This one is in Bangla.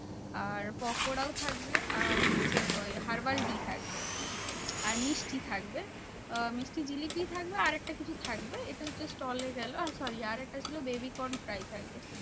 আর পকোড়াও থাকবে। আর হচ্ছে herbal tea থাকবে। আর মিষ্টি থাকবে। আহ মিষ্টি জিলিপি থাকবে আর একটা কিছু থাকবে। এটা হচ্ছে stall এ গেলো। আর sorry আরেকটা ছিল baby corn fry থাকবে।